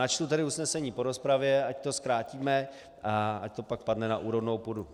Načtu tedy usnesení po rozpravě, ať to zkrátíme a ať to pak padne na úrodnou půdu.